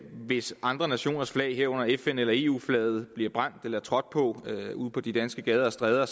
hvis andre nationers flag herunder fn eller eu flaget bliver brændt eller trådt på ude på de danske gader og stræder